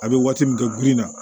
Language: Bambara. A bɛ waati min kɛ girin na